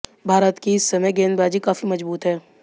भारत की इस समय गेंदबाजी काफी मजबूत है